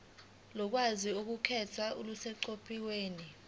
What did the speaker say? ulwazi oluqukethwe luseqophelweni